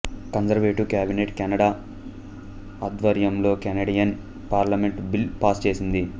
conservative cabinet Canada ఆధ్వర్యంలో Canadian parliament bill pass చేసింది